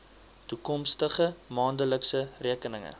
toekomstige maandelikse rekeninge